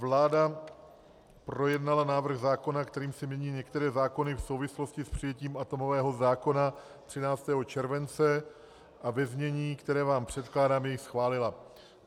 Vláda projednala návrh zákona, kterým se mění některé zákony v souvislosti s přijetím atomového zákona, 13. července a ve znění, které vám předkládám, jej schválila.